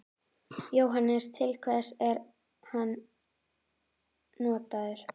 Jóhannes: Til hvers er hann notaður?